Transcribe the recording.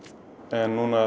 en núna